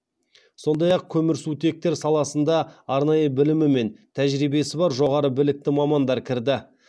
сондай ақ көмірсутектер саласында арнайы білімі мен тәжірибесі бар жоғары білікті мамандар кірді